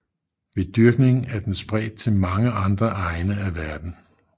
Ved dyrkning er den spredt til mange andre egne af verden